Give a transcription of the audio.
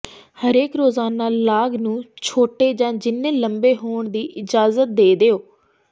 ਹਰੇਕ ਰੋਜ਼ਾਨਾ ਲਾਗ ਨੂੰ ਛੋਟੇ ਜਾਂ ਜਿੰਨੇ ਲੰਬੇ ਹੋਣ ਦੀ ਇਜ਼ਾਜਤ ਦੇ ਦਿਓ